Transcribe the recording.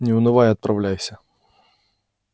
не унывай и отправляйся